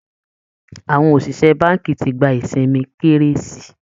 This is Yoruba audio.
Àwọn òṣìṣẹ́ báńkì ti gba isinmi kérésì